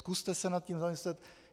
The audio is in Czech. Zkuste se nad tím zamyslet.